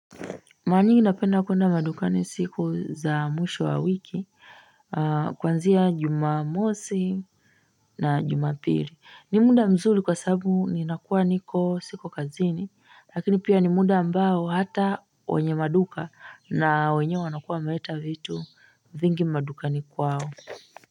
Mara mingi napenda kuenda madukani siku za mwisho wa wiki Kuanzia jumamosi na jumapili Nimda mzuri kwa sababu ninakuwa niko siko kazini Lakini pia nimda ambao hata wenye maduka na wenyewe wanakuwa wameleta vitu vingi madukani kwao.